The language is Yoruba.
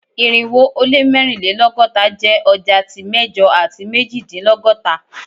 Irinwo o le mẹrinlelọgọta jẹ ọja ti mẹjọ ati mejidinlọgọta